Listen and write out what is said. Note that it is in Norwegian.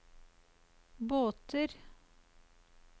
båter